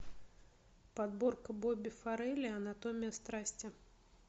подборка бобби фаррелли анатомия страсти